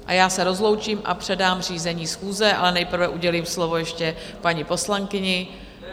A já se rozloučím a předám řízení schůze, ale nejprve udělím slovo ještě paní poslankyni.